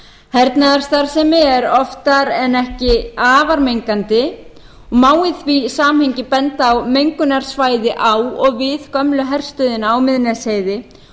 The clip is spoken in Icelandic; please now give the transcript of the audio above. hernaðarstarfsemi er oftar en ekki afar mengandi og má í því samhengi að benda á mengunarsvæði á og við gömlu herstöðina á miðnesheiði